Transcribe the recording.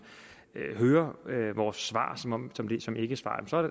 hører vores svar som ikkesvar så